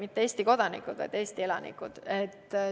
Mitte Eesti kodanikud, vaid Eesti elanikud.